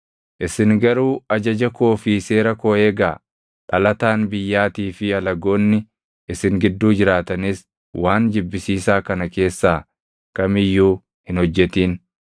Isin garuu ajaja koo fi seera koo eegaa. Dhalataan biyyaatii fi alagoonni isin gidduu jiraatanis waan jibbisiisaa kana keessaa kam iyyuu hin hojjetin.